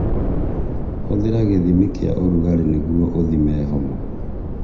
Hũthĩra gĩthimi kĩa ũrugarĩ nĩgũo ũthime homa